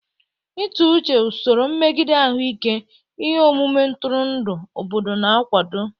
Ịtụ uche, usoro mmegide ahụike, ihe omume ntụrụndụ, obodo na-akwado.